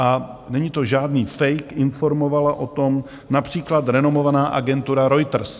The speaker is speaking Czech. A není to žádný fejk, informovala o tom například renomovaná agentura Reuters.